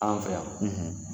An fɛ yan